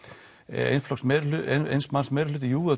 eins eins manns meirihluti jú